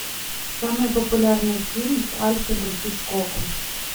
самый популярный фильм с альфредом хичкоком